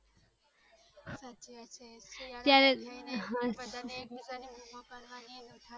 બધાને એક ભીજાને બૂમો પાડવાની ને બધાને